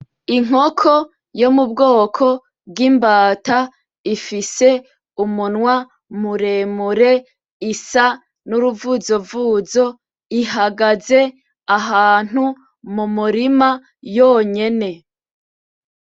Inkoko yo mubwoko bwimbata ifise umunwa muremure isa n'uruvuzovuzo ihagaze ahantu mumurima yonyene